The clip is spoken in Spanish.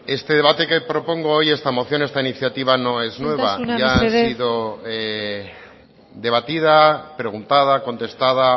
este debate que propongo hoy esta moción esta iniciativa no es nueva isiltasuna mesedez ya ha sido debatida preguntada contestada